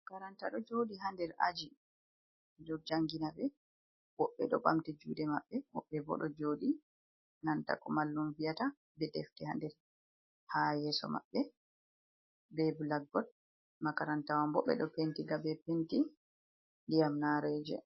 Makaranta ɗo jooɗi ha nder aji ɓeɗo janginabee, wobɓe ɗo ɓamti juuɗe mabɓe, wobɓe bo ɗo jooɗi nanta ko mallum viyata.Be defte ha nder ha yeso mabɓe be bilakbot. Makaranta wanbo ɓeɗo Pentinga be Penti ndiyam nareeje.